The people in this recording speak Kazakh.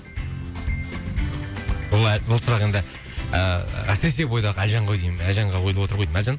бұл бұл сұрақ енді ыыы әсіресе бойдақ әлжан ғой деймін әлжанға қойылып отыр ғой деймін әлжан